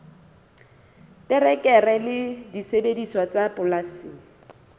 terekere le disebediswa tsa polasing